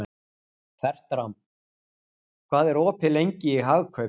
Fertram, hvað er opið lengi í Hagkaup?